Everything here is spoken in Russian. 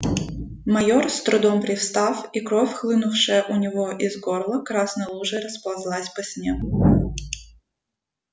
майор с трудом привстав и кровь хлынувшая у него из горла красной лужей расползлась по снегу